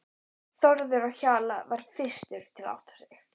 Þórður á Hjalla varð fyrstur til að átta sig.